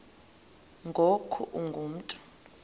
ngoku ungu mntu